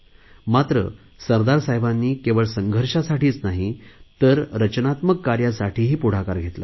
मात्र सरदार साहेबांनी केवळ संघर्षासाठीच नाही तर रचनात्मक कार्यासाठीही पुढाकार घेतला